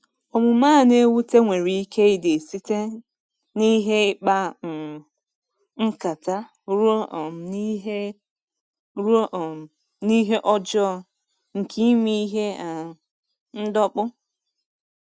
Omume a na-ewute nwere ike ịdị site n’ihe ịkpa um nkata ruo um n’ihe ruo um n’ihe ọjọọ nke ime ihe um ndọkpụ.